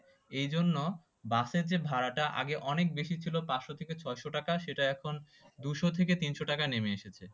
এই জন্য bus এর যে ভাড়াটা আগে অনেক বেশি ছিল পাঁচশো থেকে ছয়শো টাকা সেটা এখন দুশো থেকে তিনশো টাকায় নেমে এসেছে।